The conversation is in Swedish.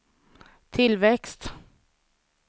tillväxt